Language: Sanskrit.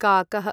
काकः